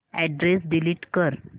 address delete कर